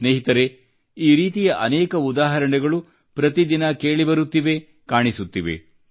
ಸ್ನೇಹಿತರೇ ಈ ರೀತಿಯ ಅನೇಕ ಉದಾಹರಣೆಗಳು ಪ್ರತಿ ದಿನ ಕೇಳಿ ಬರುತ್ತಿವೆ ಮತ್ತು ಕಾಣಿಸುತ್ತಿವೆ